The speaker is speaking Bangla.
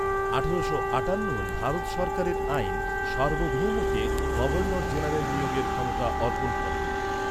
আঠারো আটান্নর ভারত সরকারের আইন সার্বভৌমকে গভর্নর জেনারেল নিয়োগের ক্ষমতা অর্পণ করে।